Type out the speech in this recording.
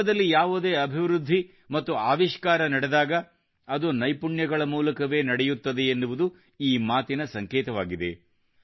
ವಿಶ್ವದಲ್ಲಿ ಯಾವುದೇ ಅಭಿವೃದ್ಧಿ ಮತ್ತು ಆವಿಷ್ಕಾರ ನಡೆದಾಗ ಅದು ನೈಪುಣ್ಯಗಳ ಮೂಲಕವೇ ನಡೆಯುತ್ತದೆ ಎನ್ನುವುದು ಈ ಮಾತಿನ ಸಂಕೇತವಾಗಿದೆ